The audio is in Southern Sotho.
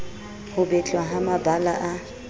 ho betlwa ha mabala a